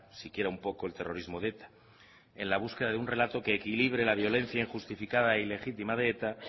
siquiera un poco el terrorismo de eta en la búsqueda de un relato que equilibre la violencia injustificada y legítima de eta